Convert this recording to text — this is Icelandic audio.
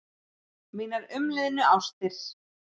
Mínar umliðnu ástir.